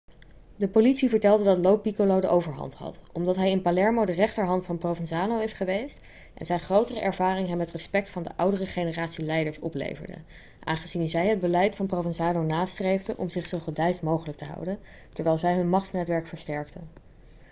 de politie vertelde dat lo piccolo de overhand had omdat hij in palermo de rechterhand van provenzano is geweest en zijn grotere ervaring hem het respect van de oudere generatie leiders opleverde aangezien zij het beleid van provenzano nastreefden om zich zo gedeisd mogelijk te houden terwijl zij hun machtsnetwerk versterkten